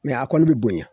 a kɔni bɛ bonya